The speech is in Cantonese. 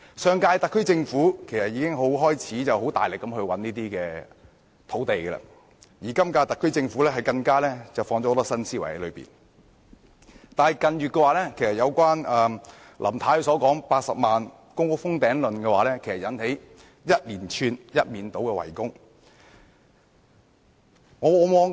上屆特區政府已開始大力覓地，而今屆特區政府更加注入了很多新思維，但近月林太提到的80萬公共租住房屋"封頂論"卻惹起一連串、一面倒的圍攻。